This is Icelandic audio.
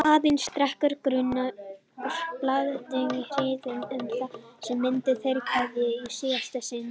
Aðeins sterkur grunur, blandinn hryggð, um að þarna myndu þeir kveðjast í síðasta sinn.